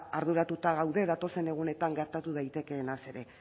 arduratuta gaude datozen egunetan gertatu daitekeenaz ere